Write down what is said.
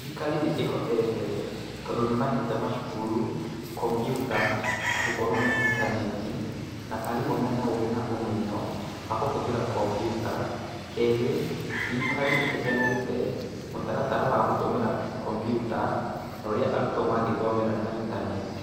Thirikari nĩ ĩhotete, tondũ nĩ mahete macukuru kompiuta na gũkorwo na intaneti na arimũ mena ũgĩ na ũmenyo wa kũhũthĩra kompiuta. Kerĩ, thirikari nĩ ĩheanĩte mũtaratara wa gũtũmĩra kompiuta, na ũrĩa arutwo mangĩthomera na intaneti.